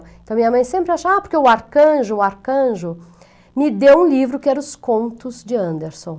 Então minha mãe sempre achava: ah porque o arcanjo, o arcanjo me deu um livro que era os contos de Anderson.